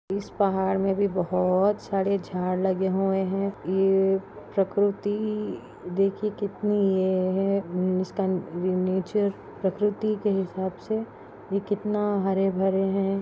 इस पहाड़ मे भी बहुत सारे झाड लगे हुवे है ये प्रकृति देखिए कितनी ये है इसका नेचर प्रकृति के हिसाब से ये कितना हरे भरे है।